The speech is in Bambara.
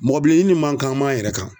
Mɔgɔ bileyi nin m'an kan an m'an yɛrɛ kan.